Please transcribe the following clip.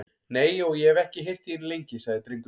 Nei, og ég hef ekki heyrt í henni lengi, sagði drengurinn.